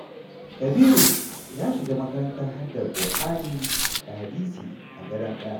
Kabiru ya shiga makarantar haddar Kur'ani da hadisi a Gadon Ƙaya.